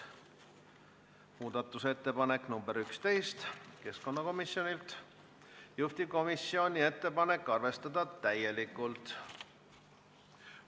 Muudatusettepanek nr 11 on keskkonnakomisjonilt, juhtivkomisjoni ettepanek on arvestada täielikult.